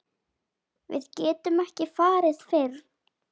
Við getum ekki farið fyrr.